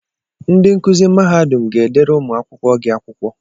Ndị nkuzi mahadum ga-edere ụmụ akwụkwọ gị akwụkwọ.